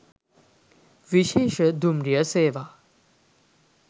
විශේෂ දුම්රිය සේවා